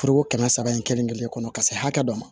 Foroko kɛmɛ saba in kelen kelen kɔnɔ ka se hakɛ dɔ ma